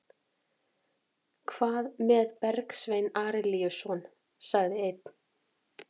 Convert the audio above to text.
Hvað með Bergsvein Arilíusson, sagði einn?